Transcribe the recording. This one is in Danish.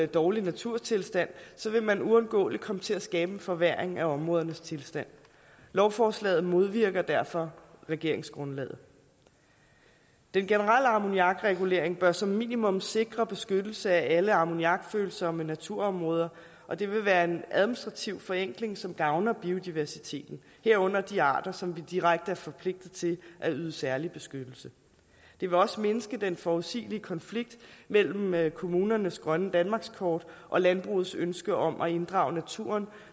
dårlig naturtilstand vil man uundgåeligt komme til at skabe en forværring af områdernes tilstand lovforslaget modvirker derfor regeringsgrundlaget den generelle ammoniakregulering bør som minimum sikre beskyttelse af alle ammoniakfølsomme naturområder og det vil være en administrativ forenkling som gavner biodiversiteten herunder de arter som vi direkte er forpligtet til at yde særlig beskyttelse det vil også mindske den forudsigelige konflikt mellem mellem kommunernes grønne danmarkskort og landbrugets ønske om at inddrage naturen